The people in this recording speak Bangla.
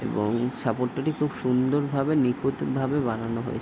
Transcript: এবং সাপোর্ট দুটি খুব সুন্দর ভাবে নিখুঁত ভাবে বানানো হয়ে--